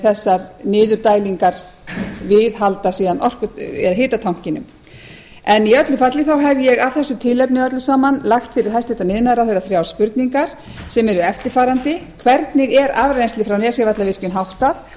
þessar niðurdælingar viðhalda síðan hitatankinum en í öllu falli hef ég af þessu tilefni öllu saman lagt fyrir hæstvirtur iðnaðarráðherra þrjár spurningar sem eru eftirfarandi hvernig er afrennsli frá nesjavallavirkjun háttað